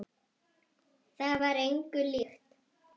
Það var engu líkt.